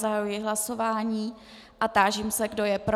Zahajuji hlasování a táži se, kdo je pro.